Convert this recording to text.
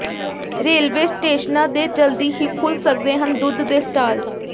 railway ਸਟੇਸ਼ਨਾਂ ਦੇ ਜਲਦੀ ਹੀ ਖੁੱਲ ਸਕਦੇ ਹਨ ਦੁੱਧ ਦੇ ਸਟਾਲ